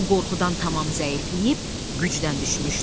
O qorxudan tam zəifləyib gücdən düşmüşdü.